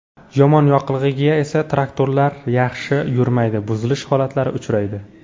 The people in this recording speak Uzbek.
Yomon yoqilg‘iga esa traktorlar yaxshi yurmaydi, buzilish holatlari uchraydi.